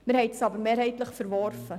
Wir haben es aber mehrheitlich verworfen.